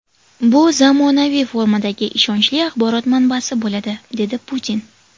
Bu zamonaviy formatdagi ishonchli axborot manbasi bo‘ladi”, dedi Putin.